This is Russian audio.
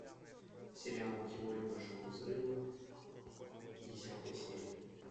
сериал теория большого взрыва десятая серия